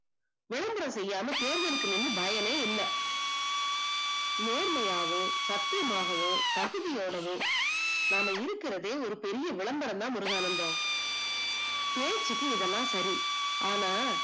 விளம்பரம் செய்யாமல் தேர்ந்தெடுக்கனும்னு பயமே இல்லை நேர்மையாகவும் சத்தியமாகவும் பகுதியோடவும் நம்ம இருக்கிறது பெரிய விளம்பரம் தான் முருகானந்தம் தேர்ச்சிக்கு இதெல்லாம் சரி ஆனால்